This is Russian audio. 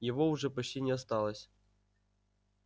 его уже почти не осталось